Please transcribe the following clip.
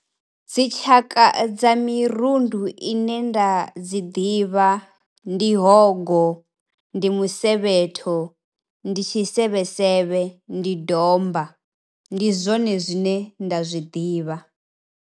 Dzi tshaka dza mirundu ine nda dzi ḓivha ndi hogo, ndi musevhetho, ndi tshisevhe sevhe, ndi domba. Ndi zwone zwine nda zwi ḓivha.